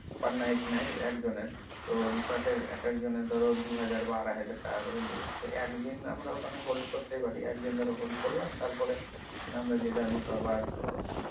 per night নেয় একজনের তো resort এর এক একজনের ধরো দু হাজার বা আড়াই হাজার করে নিবে তো একদিন আমরা ওখানে hold করতেই পারি একদিন ধরো hold করলাম তারপর আমরা যে যার মতো আবার,